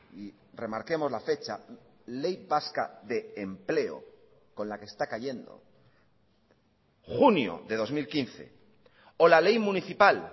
y remarquemos la fecha ley vasca de empleo con la que está cayendo junio de dos mil quince o la ley municipal